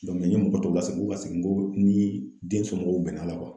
n ye mɔgɔ tɔw lasegin, n k'u ka segin n ko ni den somɔgɔw bɛnna a la